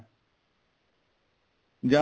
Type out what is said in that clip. ਜਾਂ